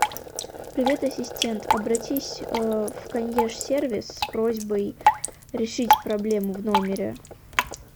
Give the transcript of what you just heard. привет ассистент обратись в консьерж сервис с просьбой решить проблему в номере